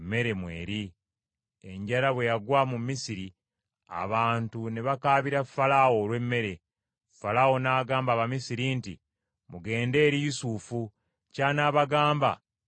Enjala bwe yagwa mu Misiri, abantu ne bakaabira Falaawo olw’emmere. Falaawo n’agamba Abamisiri nti, “Mugende eri Yusufu; ky’anaabagamba, kye muba mukola.”